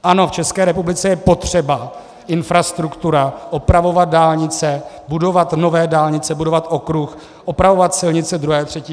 Ano, v České republice je potřeba infrastruktura, opravovat dálnice, budovat nové dálnice, budovat okruh, opravovat silnice II. a III. třídy.